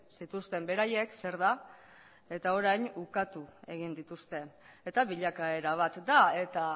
zituzten beraiek zer da eta orain ukatu egin dituzte eta bilakaera bat da eta